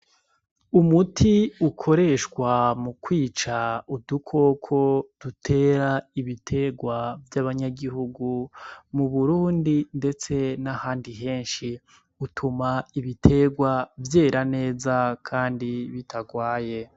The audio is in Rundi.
Umuti ukoreshwa mu kwica udukoko dutera ibiterwa vy’abanyagihugu mu Burundi ndetse n’ahandi henshi, utuma ibiterwa vyera neza kandi bitagwaye.